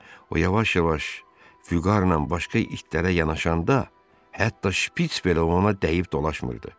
O yavaş-yavaş füqarla başqa itlərə yanaşanda, hətta Şpiç belə ona dəyib dolaşmırdı.